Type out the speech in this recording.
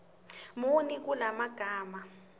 muni kula magama